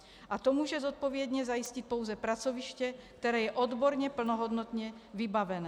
A to může zodpovědně zajistit pouze pracoviště, které je odborně plnohodnotně vybavené.